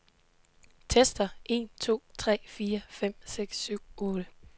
Tester en to tre fire fem seks syv otte.